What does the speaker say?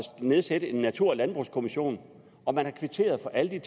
nedsætte en natur og landbrugskommission og man har kvitteret for alle